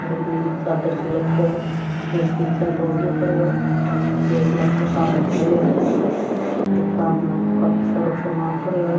एक नीली चादर सी लटके है एक पीछे नी तौलियो पड्यो है एक लड़को सामने खड़यो है दुकान में काफी सारो सामान पड़यो है।